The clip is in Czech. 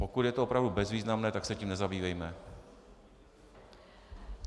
Pokud je to opravdu bezvýznamné, tak se tím nezabývejme.